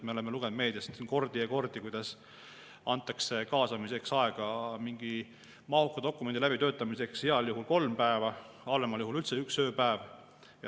Me oleme lugenud meediast kordi ja kordi, kuidas kaasamiseks antakse aega mingi mahuka dokumendi läbitöötamiseks heal juhul kolm päeva, halvemal juhul üldse üks ööpäev.